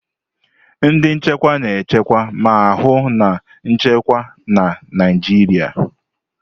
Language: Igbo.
Ndị nchekwa na-echekwa ma hụ na nchekwa na Naịjirịa.